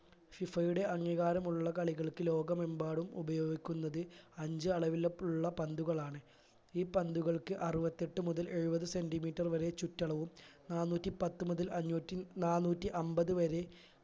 FIFA യുടെ അംഗീകാരമുള്ള കളികൾക്ക് ലോകമെമ്പാടും ഉപയോഗിക്കുന്നത് അഞ്ച്‌ അളവിൽ ഉള്ള പന്തുകളാണ് ഈ പന്തുകൾക്ക് അറുപത്തെട്ട്‍ മുതൽ എഴുപത് centimetre വരെ ചുറ്റളവും നാനൂറ്റി പത്ത് മുതൽ അഞ്ഞൂറ്റി നാനൂറ്റി അമ്പത് വരെ